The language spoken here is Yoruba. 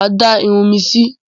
Mà á dá irun mi si.